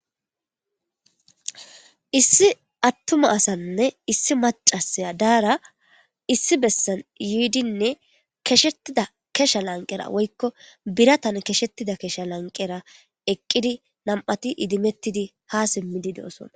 issi attuma asanne issi macasaya daara issi bessan yiidinne keshettida kesha lanqera woykko biratan keshettida kesha lanqera eqqidi nam7ati idimettidi ha simmidi de7osona